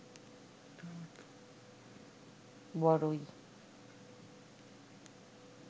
বরই